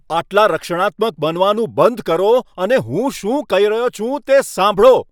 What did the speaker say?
આટલા રક્ષણાત્મક બનવાનું બંધ કરો અને હું શું કહી રહ્યો છું, તે સાંભળો.